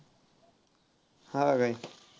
हां काय.